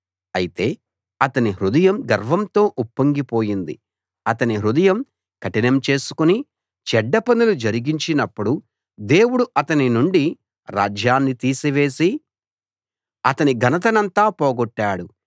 అయితే అతని హృదయం గర్వంతో ఉప్పొంగిపోయింది అతని హృదయం కఠినం చేసుకుని చెడ్డ పనులు జరిగించినప్పుడు దేవుడు అతని నుండి రాజ్యాన్ని తీసివేసి అతని ఘనతనంతా పోగొట్టాడు